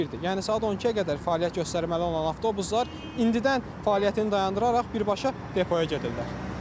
Yəni saat 12-yə qədər fəaliyyət göstərməli olan avtobuslar indidən fəaliyyətini dayandıraraq birbaşa depoya gedirlər.